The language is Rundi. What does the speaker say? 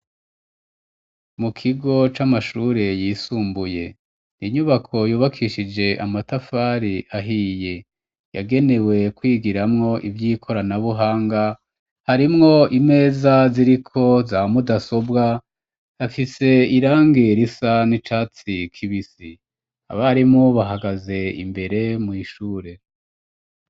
Mu kigo c'amashure yisumbuye inyubako yubakishije amatafari ahiye yagenewe kwigiramwo ivyo ikoranabuhanga harimwo imeza ziriko za mudasobwa afise irangerisa n'icatsi kibisi barimo bahagaze imbere mw'ishure.